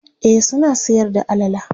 e suna Sayar da alala